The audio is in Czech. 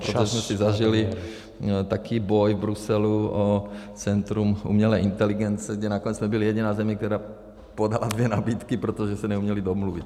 Protože jsme si zažili takový boj v Bruselu o centrum umělé inteligence, kde nakonec jsme byli jediná země, která podala dvě nabídky, protože se neuměli domluvit.